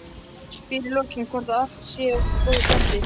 Spyr í lokin hvort allt sé ekki í góðu standi.